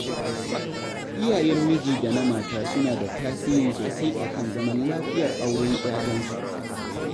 Iyayen miji da na mata suna da tasiri sosai a kan zaman lafiyar auren 'ya'yansu.